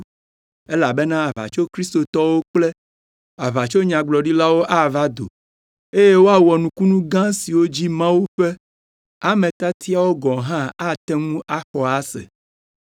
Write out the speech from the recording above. elabena aʋatsokristotɔwo kple aʋatsonyagblɔɖilawo ava do, eye woawɔ nukunu gã siwo dzi Mawu ƒe ame tiatiawo gɔ̃ hã ate ŋu axɔ ase.